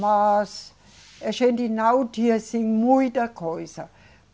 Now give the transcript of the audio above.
Mas a gente não disse muita coisa.